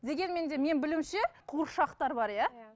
дегенмен де менің білуімше қуыршақтар бар иә иә